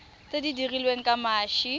tse di dirilweng ka mashi